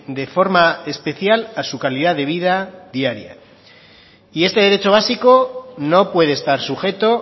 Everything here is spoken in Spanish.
de forma especial a su calidad de vida diaria y este derecho básico no puede estar sujeto